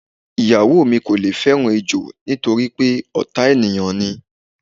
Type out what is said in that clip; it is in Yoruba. Ìyàwó mi kò le fé̩ràn ejò nítorí pé ò̩tá ènìyàn ni.